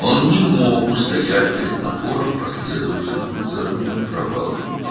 O, bir-birinin ardınca gələn uğursuzluqların təzyiqinə tab gətirə bilmədi.